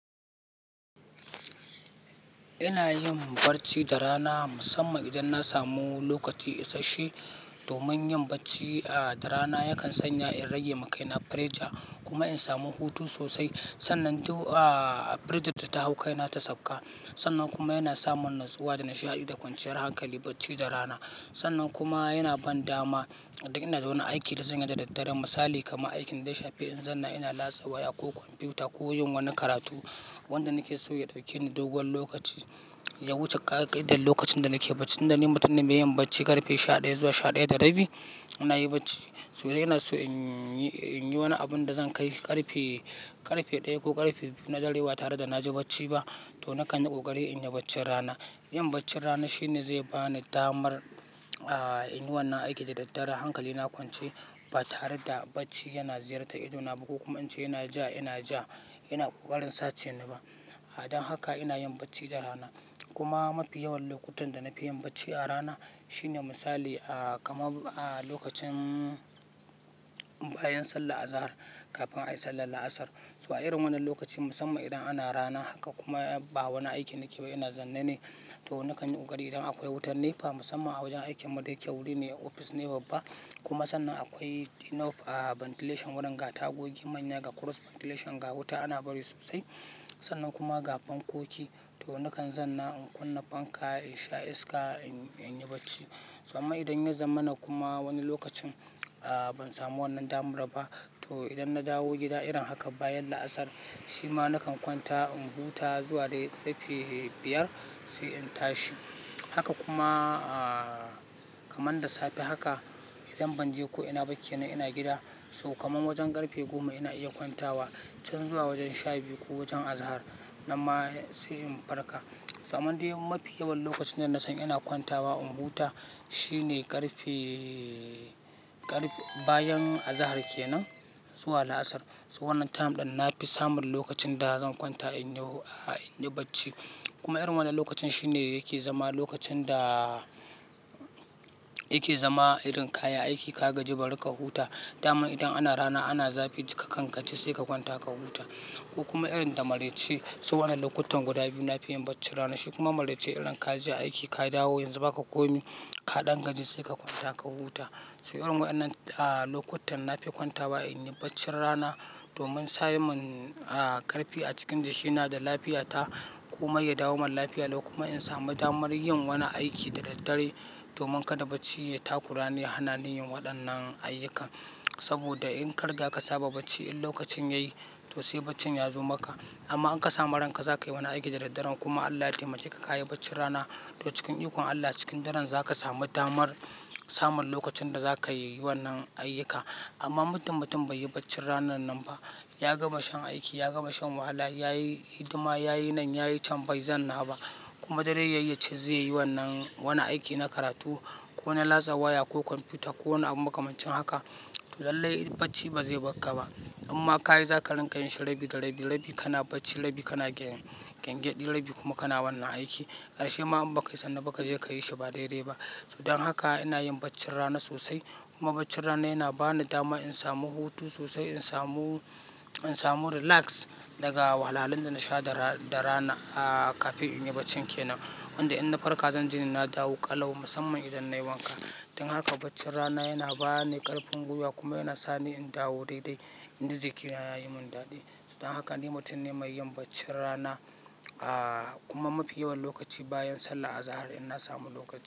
Ina yin barci da rana musamman idan na samu lokaci isashe. Domin yin barci a, da rana yakan sanya in rage ma kaina pressure kuma in samu hutu sosai. Sannan du a, pressure da ta hau kaina ta safka. Sannan kuma yana samunatsuwa da nishaɗi da kwanciyar hankali barci da rana. Sannan kuma yana ban dama idan ina da wani aiki da zanyi da daddare. Misali kamar aikin da ya shafe in zanna ina latsa waya ko kwamfuta ko yin wani karatu wanda nake so ya ɗauke ni dogon lokaci. Ya wuce ƙa'idar lokacin da nake barci. Inda ni mutum ne mai yin barci ƙarfe sha ɗaya zuwa sha ɗaya da rabi. Ina yi barci. So ina so in yi, in yi wani abun da zan kai ƙarfe, ƙarfe ɗaya ko ƙarfe biyu na dare ba tare da na ji barci ba. To na kan yi ƙoƙari in yi barcin rana. Yin barcin rana shine zai ba ni damar a, in yi wannan aiki da daddare. Hankali na kwance ba tare da barci yana ziyarta idona ba ko kuma in ce yana ja, ina ja. Ina ƙoƙarin sace ni ba. Don haka ina yin barci da rana, kuma mafi yawan lokutan da nafi yin barci a rana shine misali a kamar a lokacin bayan sallar azahar kafin ayi sallar la'asar to a irin wannan lokacin musamman idan ana rana kar kuma ba wani aiki nake ba ina zanne ne. To na kan yi ƙoƙari idan akwai wutar nepa musamman a wajen aikin mu da yake wuri ne ofis ne babba. Kuma sannan akwai enough a, ventilation wurin ga tagogi manya ga cross ventilation ga wuta ana bari sosai. Sannan kuma ga fankoki to na kan zanna in kunna fanka in sha iska in, in yi barci. To amma idan ya zamana kuma wani lokacin a, ban samu wannan damar ba. To idan na dawo gida irin haka bayan la'asar shi ma na kan kwanta in huta zuwa dai ƙarfe biyar sai in tashi. Haka kuma a, kamar da safe haka idan ban je ko ina ba kenan ina gida. So kamar wajen ƙarfe goma ina iya kwantawa can zuwa wajen sha biyu ko wajen azahar nan ma sai in farka. To amman dai mafi yawan lokacin da na san ina kwantawa in huta shine ƙarfe, ƙarfe bayan azahar kenan zuwa la'asar. So wannan time ɗin na fi samun lokacin da zan kwanta in yi a, in yi barci. Kuma irin wannan lokacin shi ne yake zama lokacin da yake zama irin kayi aiki ka gaji bari ka huta. Daman idan ana rana ana zafi ka kan kaci sai ka kwanta ka huta. Ku kuma irin da maraice. To wannan lokutan guda biyu nafi yin barcin rana. Shi kuma maraice irin ka je aiki ka dawo yanzu ba ka komi. Ka ɗan gaji sai ka kwanta ka huta. So irin wayannan a, lokutan na fi kwantawa in yi barcin rana domin samun a ƙarfi a cikin jiki na da lafiya ta. Kuma ya dawo min lafiya lau kuma in sami damar yin wani aiki da daddare. Domin kada barci ya takurani a hana ni yin waɗannan ayyuka. Saboda in ka riga ka saba barci in lokacin yayi to sai barcin ya zo maka. Amma in ka sama ranka zaka yi wani aiki da daddare kuma Allah ya taimake ka kayi barcin rana. To cikin ikon Allah cikin daren zaka sami damar samun lokacin da zaka yi wannan ayyuka. Amma muddin mutum bai yi barcin ranan nan ba ya gama shan aiki, ya gama shan wahala ya yi hidima, ya yi nan, ya yi can bai zanna ba kuma dare yayi yace zai yi wannan wani aiki na karatu ko na latsa waya ko kwamfuta ko wani abun makamancin haka. Lallai barci ba zai barka ba. Imma ka yi za ka rinka yin shi rabi da rabi. Rabi kana barci, rabi kana gyan, gyange ɗi rabi kuma kana wannan aiki. Karshe ma in ba kai sanna ba ka je ka yi shi ba daidai ba. Don haka ina yin barcin rana sosai. Kuma barcin rana yana ba ni dama in samu hutu sosai, in samu, in samu relax daga wahalalin da na sha da ra, da rana a, kafin in yi barcin kenan. Inda in na farka zan ji na dawo ƙalau musamman idan nayi wanka. Don haka barcin rana yana ba ni ƙarfin gwiwa kuma yana sa ni in dawo daidai. Inji jikina ya yi min daɗi. Don haka ni mutum ne mai yin barcin rana a, kuma mafi yawan lokaci bayan sallah azahar idan na samu lokaci.